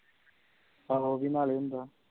ਆਹੋ ਉਹ ਵੀ ਨਾਲੇ ਹੁੰਦਾ ਆ